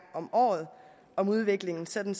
om året om udviklingen sådan